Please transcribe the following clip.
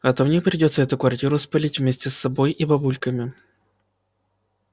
а то мне придётся эту квартиру спалить вместе с собой и бабульками